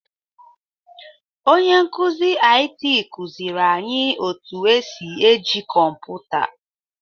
Onye nkụzi IT kụziri anyị otu e si eji kọmpụta.